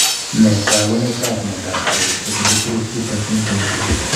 Nee taakunetaab myondap keisto 22q13.3?